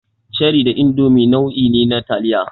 Cherie da Indomi nau'i ne na taliya.